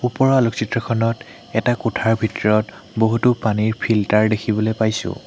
ওপৰৰ আলোকচিত্ৰখনত এটা কোঠাৰ ভিতৰত বহুতো পানীৰ ফিল্টাৰ দেখিবলৈ পাইছোঁ।